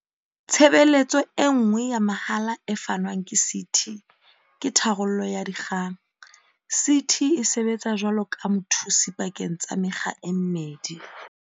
Tshebeletso e nngwe ya mahala e fanwang ke CT ke tharollo ya dikgang. CT e sebetsa jwaloka mothusi pakeng tsa mekga e mmedi.